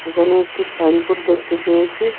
এখানে একটি সাইনবোর্ড দেখতে পেয়েছি।